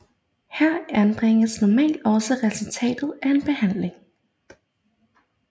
Her anbringes normalt også resultatet af en behandling